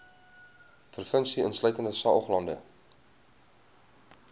provinsie insluitende saoglande